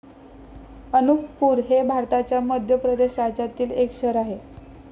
अनुपपूर हे भारताच्या मध्यप्रदेश राज्यातील एक शहर आहे.